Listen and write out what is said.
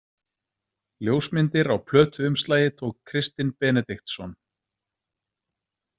Ljósmyndir á plötuumslagi tók Kristinn Benediktsson.